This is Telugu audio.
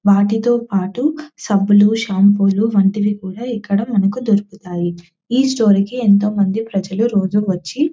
వాటితో పాటు సబ్బులు షాంపూలు వంటివి కూడా ఇక్కడ మనకు దొరుకుతాయి ఈ స్టోర్ కి ఎంతో మంది ప్రజలు రోజు వచ్చి --